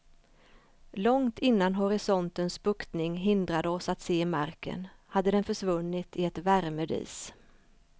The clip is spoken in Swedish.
Långt innan horisontens buktning hindrade oss att se marken, hade den försvunnit i ett värmedis.